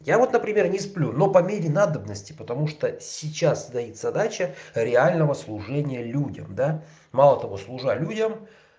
я вот например не сплю но по мере надобности потому что сейчас стоит задача реального служения людям да мало того служа людям